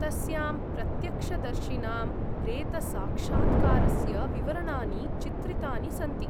तस्यां प्रत्यक्षदर्शिनां प्रेतसाक्षात्कारस्य विवरणानि चित्रितानि सन्ति ।